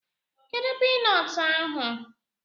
Kedụ piinọọtụ ahụ?